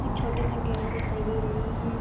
कुछ छोटे कंटेनर दिखाई दे रही हैं।